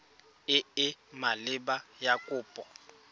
e e maleba ya kopo